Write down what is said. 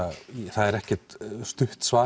það er ekkert stutt svar